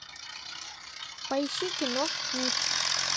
поищи кино миф